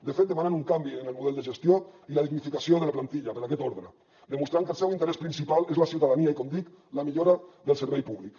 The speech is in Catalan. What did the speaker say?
de fet demanen un canvi en el model de gestió i la dignificació de la plantilla per aquest ordre demostrant que el seu interès principal és la ciutadania i com dic la millora del servei públic